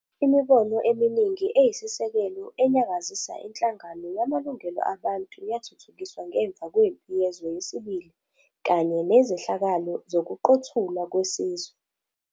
Imibono eminingi eyisisekelo eyanyakazisa inhlangano yamalungelo abantu yathuthukiswa ngemva kwempi yezwe yesibili kanye nezehlakalo zokuqothulwa kwesizwe.